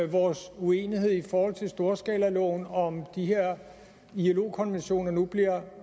vores uenighed i forhold til storskalaloven om de her ilo konventioner nu bliver